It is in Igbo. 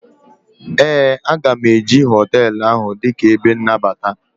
ee, a ga m eji hotelu ahụ dịka ebe nnabata